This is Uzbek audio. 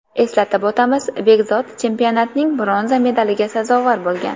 Eslatib o‘tamiz , Bekzod chempionatning bronza medaliga sazovor bo‘lgan.